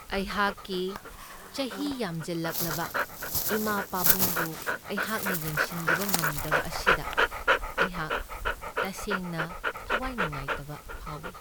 ꯑꯩꯍꯥꯛꯀꯤ ꯆꯍꯤ ꯌꯥꯝꯖꯜꯂꯛꯂꯕ ꯏꯃꯥ ꯄꯥꯕꯨꯡꯕꯨ ꯑꯩꯍꯥꯛꯅ ꯌꯦꯡꯁꯤꯟꯕꯤꯕ ꯉꯝꯗꯕ ꯑꯁꯤꯗ ꯑꯩꯍꯥꯛ ꯇꯁꯦꯡꯅ ꯊꯋꯥꯏ ꯅꯨꯡꯉꯥꯏꯇꯕ ꯐꯥꯎꯢ꯫